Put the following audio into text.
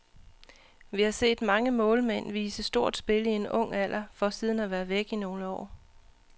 Vi har set mange målmænd vise stort spil i en ung alder for siden at være væk i nogle år.